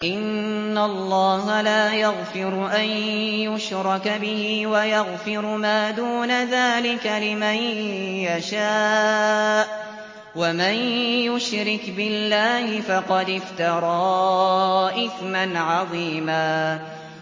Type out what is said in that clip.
إِنَّ اللَّهَ لَا يَغْفِرُ أَن يُشْرَكَ بِهِ وَيَغْفِرُ مَا دُونَ ذَٰلِكَ لِمَن يَشَاءُ ۚ وَمَن يُشْرِكْ بِاللَّهِ فَقَدِ افْتَرَىٰ إِثْمًا عَظِيمًا